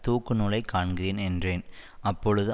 தூக்குநூலைக் காண்கிறேன் என்றேன் அப்பொழுது